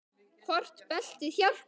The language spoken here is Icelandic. Hvort beltið hjálpi?